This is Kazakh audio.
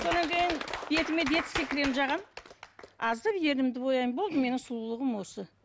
бетіме детский крем жағамын аздап ернімді бояймын болды менің сұлулығым осы